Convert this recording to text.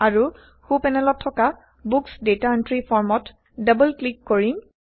আৰু সো পেনেলত থকা বুক্স ডাটা এন্ট্ৰি Formত ডাবল ক্লিক কৰিম